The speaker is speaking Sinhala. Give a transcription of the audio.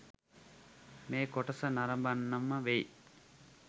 මේ කොටස නරඹන්නම වෙයි.